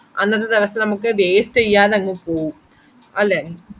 I അത് അതെന്നെയത് വേ അത് ഞാൻ